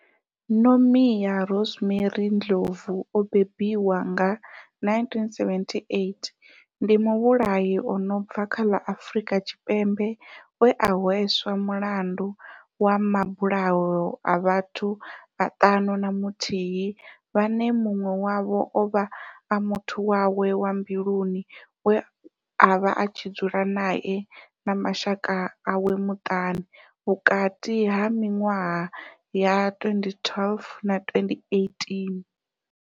Nomia Rosemary Ndlovu o bebiwaho nga, 1978, ndi muvhulahi a no bva kha ḽa Afurika Tshipembe we a hweswa mulandu wa mabulayo a vhathu vhaṱanu na muthihi vhane munwe wavho ovha a muthu wawe wa mbiluni we avha a tshi dzula nae na mashaka awe maṱanu, vhukati ha minwaha ya 2012 na 2018.